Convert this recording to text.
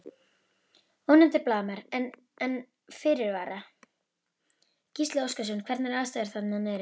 Ónefndur blaðamaður: En, en fyrirvara?